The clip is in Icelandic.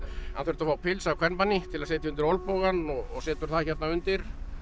hann þurfti að fá pils af kvenmanni til að setja undir olnbogann og setur það hérna undir